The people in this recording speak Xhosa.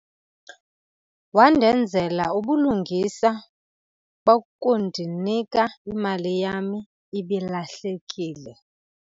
Wandenzela ubulungisa bokundinika imali yam ibilahlekile.